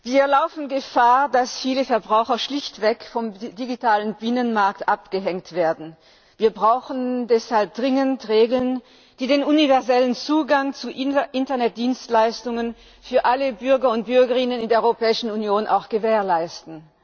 Herr Präsident! Wir laufen Gefahr, dass viele Verbraucher schlichtweg vom digitalen Binnenmarkt abgehängt werden. Wir brauchen deshalb dringend Regeln, die den universellen Zugang zu Internet Dienstleistungen für alle Bürger und Bürgerinnen in der Europäischen Union gewährleisten.